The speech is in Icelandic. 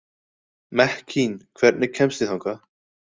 Mekkín, hvernig kemst ég þangað?